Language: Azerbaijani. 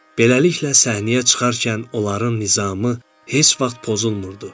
Beləliklə, səhnəyə çıxarkən onların nizamı heç vaxt pozulmurdu.